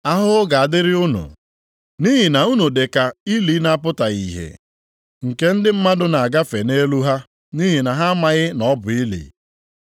“Ahụhụ ga-adịrị unu, nʼihi na unu dị ka ili na-apụtaghị ihe + 11:44 Apụtaghị ihe ya bụ nke zoro ezo. , nke ndị mmadụ na-agafe nʼelu ha nʼihi na ha amaghị na ọ bụ ili.”